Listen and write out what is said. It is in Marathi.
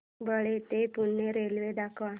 बाळे ते पुणे रेल्वे दाखव